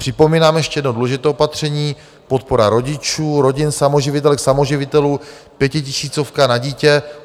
Připomínám ještě jedno důležité opatření - podpora rodičů, rodin samoživitelek, samoživitelů, pětitisícovka na dítě.